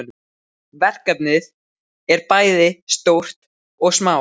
Verkefnin eru bæði stór og smá.